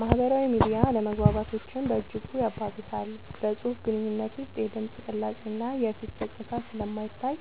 ማህበራዊ ሚዲያ አለመግባባቶችን በእጅጉ ያባብሳል። በፅሁፍ ግንኙነት ውስጥ የድምፅ ቅላፄ እና የፊት ገፅታ ስለማይታይ